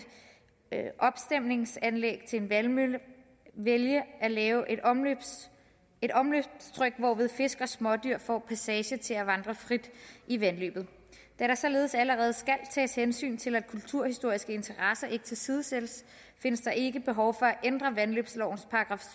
opstemningsanlæg til en vandmølle vælge at lave et omløbsstryg et omløbsstryg hvorved fisk og smådyr får passage til at vandre frit i vandløbet da der således allerede skal tages hensyn til at kulturhistoriske interesser ikke tilsidesættes findes der ikke behov for at ændre vandløbslovens §